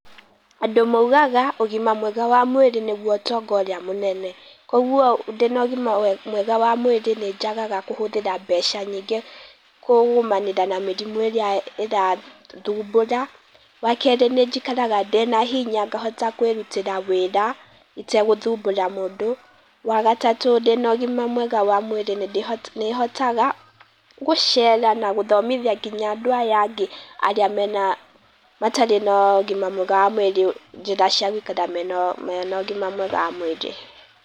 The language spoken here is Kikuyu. Andũ maugaga ũgima mwega wa mwĩrĩ nĩgũo ũtonga ũrĩa mũnene. Kogwo ndĩna ũgĩma mwega wa mwĩrĩ nĩ njagaga kũhũthĩra mbeca nyingĩ kũgũmanĩra na mĩrimũ ĩrĩa ĩrathũbũra. Wa kerĩ nĩ njikaraga ndĩna hinya ngahota kwĩrũtĩra wĩra itegũthũbũra mũndũ, wa gatatũ ndĩna ũgima mwega wa mwĩrĩ nĩndĩ nĩ hotaga gũcera na gũthomithia nginya andũ aya angĩ mena, matarĩ na ũgima mwega wa mwĩrĩ, njĩra cia gũikara mena ũgĩma mwega wa mwĩrĩ.